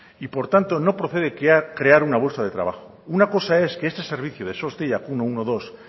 y por tanto no procede crear una bolsa de trabajo una cosa es que este servicio de sos deiakminus ehun eta hamabi